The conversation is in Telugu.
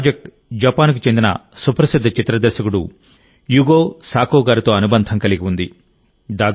ఈ ప్రాజెక్ట్ జపాన్ కు చెందిన సుప్రసిద్ధ చిత్ర దర్శకుడు యుగో సాకో గారితో అనుబంధం కలిగి ఉంది